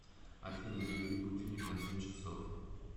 афина заведи будильник на семь часов